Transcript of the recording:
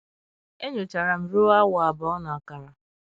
e nyochara m ruo awa abụọ na ọkara.